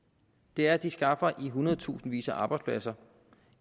det er at de skaffer i hundredtusindvis af arbejdspladser